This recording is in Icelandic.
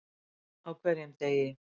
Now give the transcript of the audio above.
Á hverjum degi.